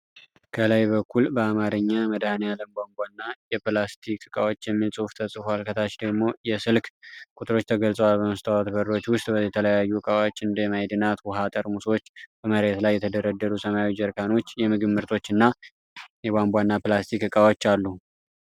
ከላይ በኩል በአማርኛ "መድኃኒዓለም ቧንቧና የፕላስቲክ ዕቃዎች" የሚል ጽሑፍ ተጽፎአል። ከታች ደግሞ የስልክ ቁጥሮች ተገልጸዋል። በመስታወት በሮች ውስጥ የተለያዩ ዕቃዎች፣ እንደ ማዕድናት ውሃ ጠርሙሶች (በመሬት ላይ የተደረደሩ ሰማያዊ ጀሪካኖች)፣ የምግብ ምርቶች እና የቧንቧና ፕላስቲክ ዕቃዎችአሉ።